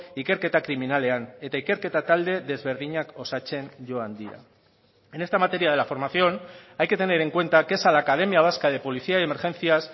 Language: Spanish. ikerketa kriminalean eta ikerketa talde desberdinak osatzen joan dira en esta materia de la formación hay que tener en cuenta que es a la academia vasca de policía y emergencias